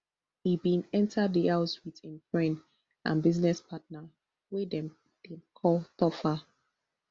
e bin enta di house wit im friend and business partner wey dem dey call topher